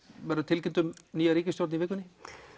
verður tilkynnt um nýja ríkisstjórn í vikunni